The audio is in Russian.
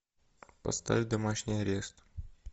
поставь домашний арест